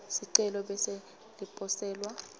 sicelo bese liposelwa